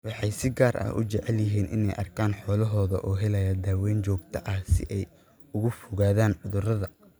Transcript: Waxay si gaar ah u jecel yihiin inay arkaan xoolahooda oo helaya daaweyn joogto ah si ay uga fogaadaan cudurrada.